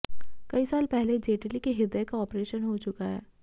कई साल पहले जेटली के हृदय का ऑपरेशन हो चुका है